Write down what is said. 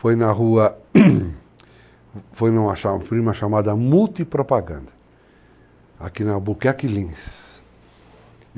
Foi na rua, foi numa chamada Mult propaganda, aqui na Albuquerque Lins.